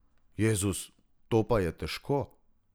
Jezus, to je pa težko.